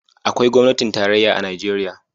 Akwai gwamnatin tarayya a Najeriya.